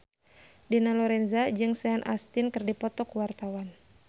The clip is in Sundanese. Dina Lorenza jeung Sean Astin keur dipoto ku wartawan